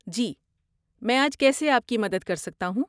جی، میں آج کیسے آپ کی مدد کر سکتا ہوں؟